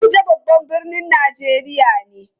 Abuja babban birnin Najeriya ne.